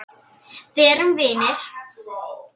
Verum vinir.